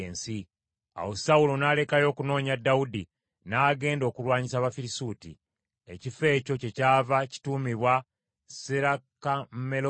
Awo Sawulo n’alekayo okunoonya Dawudi, n’agenda okulwanyisa Abafirisuuti. Ekifo ekyo kyekyava kituumibwa Serakammalekosi.